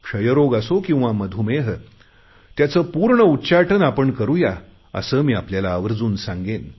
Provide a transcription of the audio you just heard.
क्षयरोग असो किंवा मधुमेह त्याचे पूर्ण उच्चाटन आपण करुया असे मी आपल्याला आवर्जून सांगेन